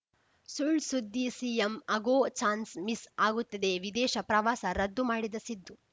ಸುಳ್‌ ಸುದ್ದಿ ಸಿಎಂ ಆಗೋ ಚಾನ್ಸ್‌ ಮಿಸ್‌ ಆಗುತ್ತದೆ ವಿದೇಶ ಪ್ರವಾಸ ರದ್ದು ಮಾಡಿದ ಸಿದ್ದು